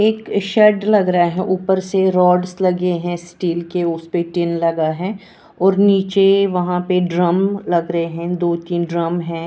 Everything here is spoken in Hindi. एक शेड लग रहा है ऊपर से रोड्स लगे हैं स्टील के उस परे टिन लगा है और नीचे वहां पर ड्रम लग रहे हैं दो-तीन ड्रम है।